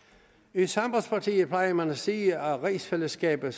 i sambandspartiet plejer man at sige at rigsfællesskabet